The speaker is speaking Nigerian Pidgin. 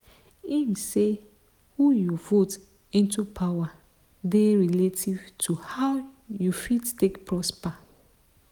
im say who you vote into power dey relative to how you fit take prosper.